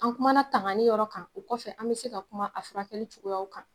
An kumaumana tangani yɔrɔ kan , o kɔfɛ an bɛ se ka kuma a furakɛli cogoya kan.